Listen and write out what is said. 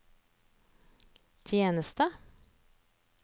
tjeneste